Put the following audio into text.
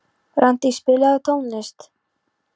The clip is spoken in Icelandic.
Randý, spilaðu tónlist.